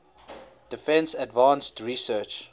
defense advanced research